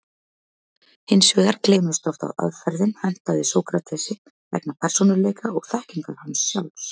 Hins vegar gleymist oft að aðferðin hentaði Sókratesi vegna persónuleika og þekkingar hans sjálfs.